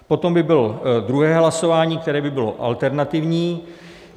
Potom by bylo druhé hlasování, které by bylo alternativní.